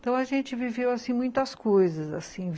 Então, a gente viveu assim muitas coisas assim